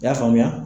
I y'a faamuya